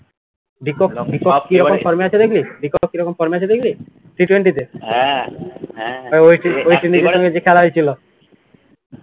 দিপক দিপক কী রকম form এ আছে দেখলি? দিপক কী রকম form এ আচে দেখলি? T twenty তে